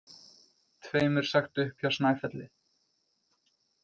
Tveimur sagt upp hjá Snæfelli